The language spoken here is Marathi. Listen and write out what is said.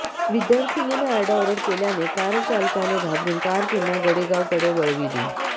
विद्यार्थिनीने आरडाओरड केल्याने कारचालकाने घाबरून कार पुन्हा गडेगावकडे वळविली